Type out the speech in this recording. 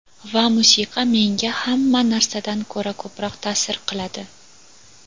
Va musiqa menga hamma narsadan ko‘ra ko‘proq ta’sir qiladi.